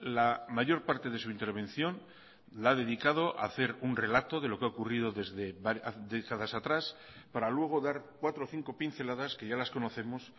la mayor parte de su intervención la ha dedicado hacer un relato de lo que ha ocurrido desde décadas atrás para luego dar cuatro o cinco pinceladas que ya las conocemos